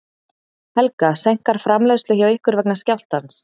Helga: Seinkar framleiðslu hjá ykkur vegna skjálftans?